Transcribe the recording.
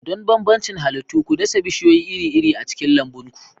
Don bambancin halittu, ku dasa bishiyoyi iri-iri a cikin lambun ku.